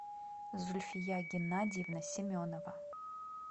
зульфия геннадьевна семенова